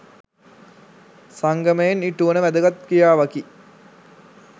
සංගමයෙන් ඉටුවන වැදගත් ක්‍රියාවකි.